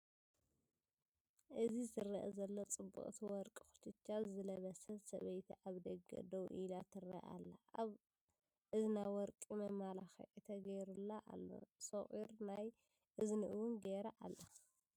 እዚ ዝረአ ዘሎ ጽብቕቲ ወርቂ ኩችቻ ዝለበሰት ሰበይቲ ኣብ ደገ ደው ኢላ ትርአ ኣላ፤ ኣብ እዝና ወርቂ መመላክዒ ተገይሩላ ኣሎ። ሶቂር ናይ እዝኒ እውን ገይራ ኣላ።